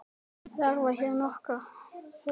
Verða hér nokkur þeirra nefnd.